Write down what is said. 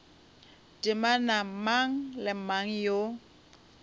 temana mang le mang yo